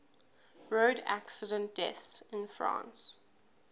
road accident deaths in france